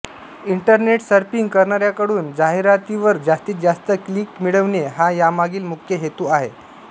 internet surfing करणाऱ्यांकडून जाहिरातीवर जास्तीत जास्त क्लिक मिळविणे हा यामागील मुख्य हेतू आहे